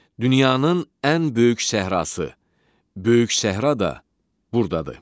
Dünyanın ən böyük səhrası, Böyük səhra da burdadır.